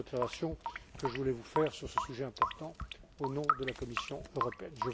Voilà les observations que je voulais vous faire sur ce sujet important, au nom de la Commission européenne.